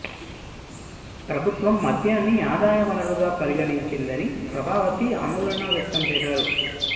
ప్రభుత్వం మద్యాన్ని ఆదాయ వనరుగా పరిగణించిందని ప్రభావతి ఆందోళన వ్యక్తం చేశారు